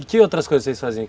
E que outras coisas vocês faziam?